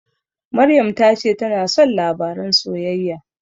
Maryam ta ce tana son labaran soyayya.